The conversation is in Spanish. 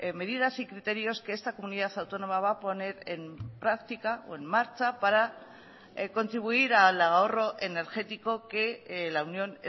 medidas y criterios que esta comunidad autónoma va a poner en práctica o en marcha para contribuir al ahorro energético que la unión